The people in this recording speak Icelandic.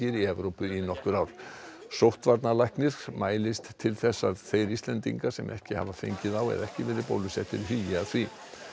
í Evrópu í nokkur ár mælist til að þeir Íslendingar sem ekki hafa fengið þá eða ekki verið bólusettir hugi að því